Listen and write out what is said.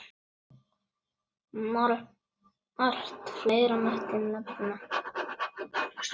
Margt fleira mætti nefna.